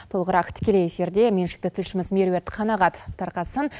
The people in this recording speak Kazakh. толығырақ тікелей эфирде меншікті тілшіміз меруерт қанағат тарқатсын